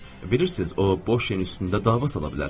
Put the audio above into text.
Bilirsiz, o boş yerin üstündə dava sala bilər.